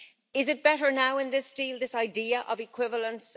Is it better now in this deal, this idea of equivalence?